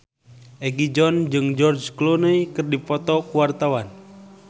Egi John jeung George Clooney keur dipoto ku wartawan